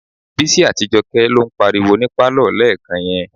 Bísí àti Jọkẹ́ ló ń pariwo ní pálọ̀ lẹ́ẹ̀kan yẹn.